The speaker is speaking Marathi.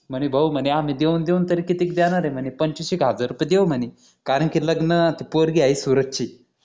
म्हणे भाऊ म्हणे आम्ही देऊन देऊन तरी किती देणार ये म्हणे पंचवीस एक हजार रुपये देऊ म्हणे कारण कि लग्नत्त ते पोरगी आहे सुरत ची